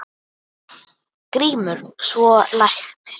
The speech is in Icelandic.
GRÍMUR: Svona læknir.